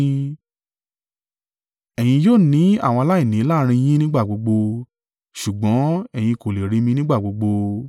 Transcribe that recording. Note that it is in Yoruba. Ẹ̀yin yóò ní àwọn aláìní láàrín yín nígbà gbogbo, ṣùgbọ́n, ẹ̀yin kò le rí mi nígbà gbogbo.